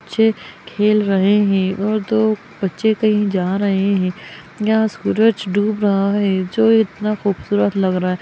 बच्चे खेल रहे है और दो बच्चे कही जा रहे हैं यहाँ सूरज डूब रहा है जो इतना खूबसूरत लग रहा है।